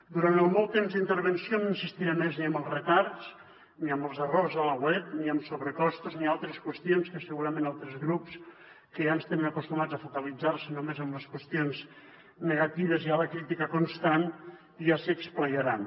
durant el meu temps d’intervenció no insistiré més ni en els retards ni en els errors a la web ni en sobrecostos ni altres qüestions que segurament altres grups que ja ens tenen acostumats a focalitzar se només en les qüestions negatives i a la crítica constant ja s’hi esplaiaran